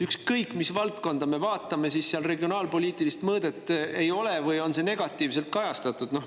Ükskõik, mis valdkonda me vaatame, regionaalpoliitilist mõõdet seal ei ole või on see negatiivselt kajastatud.